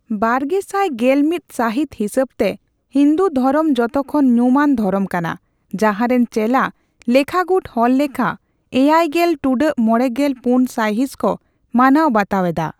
ᱵᱟᱨᱜᱮᱥᱟᱭ ᱜᱮᱞ ᱢᱤᱛ ᱥᱟᱦᱤᱛ ᱦᱤᱥᱟᱹᱵᱛᱮ, ᱦᱤᱱᱫᱩ ᱫᱷᱚᱨᱚᱢ ᱡᱚᱛᱚᱠᱷᱚᱱ ᱧᱩᱢᱟᱱ ᱫᱷᱚᱨᱚᱢ ᱠᱟᱱᱟ, ᱡᱟᱦᱟᱸᱨᱮᱱ ᱪᱮᱞᱟ ᱞᱮᱠᱷᱟᱜᱩᱴ ᱦᱚᱲᱞᱮᱠᱷᱟ ᱮᱭᱟᱭ ᱜᱮᱞ ᱴᱩᱰᱟᱹᱜ ᱢᱚᱲᱮᱜᱮᱞ ᱯᱩᱱ ᱥᱟᱭᱦᱤᱸᱥ ᱠᱚ ᱢᱟᱱᱟᱣ ᱵᱟᱛᱟᱣ ᱮᱫᱟ᱾